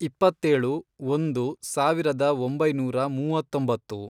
ಇಪ್ಪತ್ತೇಳು, ಒಂದು, ಸಾವಿರದ ಒಂಬೈನೂರ ಮೂವತ್ತೊಂಬತ್ತು